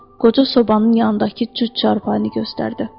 Qoca sobanın yanındakı cüt çarpayını göstərdi.